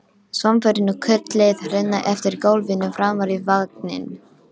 Svampurinn og kurlið renna eftir gólfinu framar í vagninn.